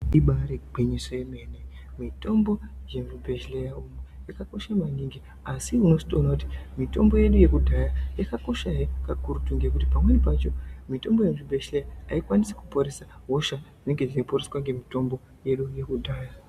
Ibaari gwinyiso yemene mitombo yemuzvibhedhlera umu yakakosha maningi. Asi unotozoona kuti mitombo yedu yekudhaya yakakoshahe kakurutu ngekuti pamweni pacho mitombo yemuzvibhedhlera haikwanisi kuporesa hosha dzinenge dzeiponeswa ngemitombo yedu yekudhaya.